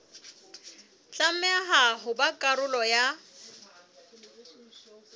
tlameha ho ba karolo ya